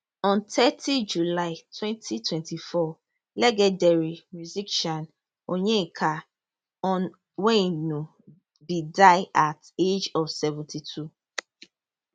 on thirty july wenty twenty four legendary musician onyeka onwenu bin die at age of seventy two